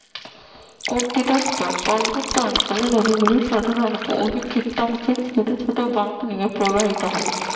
প্রকৃতস্থল পার্বত্য অঞ্চলে নদীগুলো সাধারণত অধিকক্ষিপ্তাংশের ছোট ছোট বাঁক নিয়ে প্রবাহিত হয়